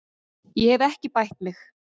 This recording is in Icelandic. Ég hef ekki bætt mig.